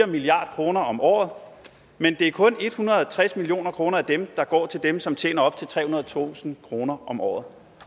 milliard kroner om året men det er kun en hundrede og tres million kroner af dem der går til dem som tjener op til trehundredetusind kroner om året